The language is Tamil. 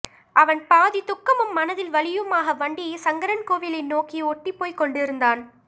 அவன் பாதி துக்கமும் மனதில் வலியுமாக வண்டியை சங்கரன்கோவிலை நோக்கி ஒட்டி போய் கொண்டிருந்தான்